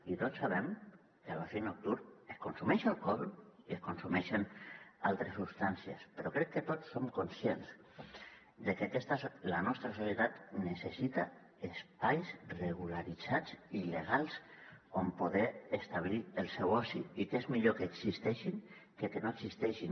i tots sabem que a l’oci nocturn es consumeix alcohol i es consumeixen altres substàncies però crec que tots som conscients de que la nostra societat necessita espais regularitzats i legals on poder establir el seu oci i que és millor que existeixin que no existeixin